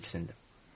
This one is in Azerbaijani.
Birdən diksindi.